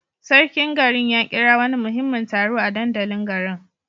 Sarkin garin ya kira wani muhimmin taro a dandalin garin.